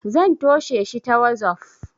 zan tosheshi ta wazof